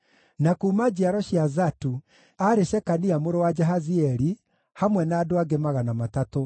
na kuuma njiaro cia Zatu, aarĩ Shekania mũrũ wa Jahazieli, hamwe na andũ angĩ 300;